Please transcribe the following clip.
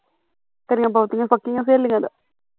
ਤੇਰੀਆਂ ਬਹੁਤੀਆ ਪੱਕੀਆਂ ਸਹੇਲੀਆ ਦਾ